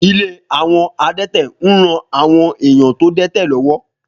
Ilé àwọn adẹ́tẹ̀ ń ran àwọn èèyàn tó dẹ́tẹ̀ lọ́wọ́